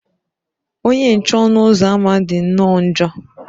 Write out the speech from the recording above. Onye nche ọnụ ụzọ ámá dị nnọọ njọ.